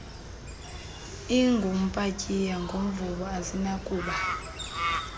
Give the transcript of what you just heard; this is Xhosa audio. ingumpatsiya ngumvubo azinakuba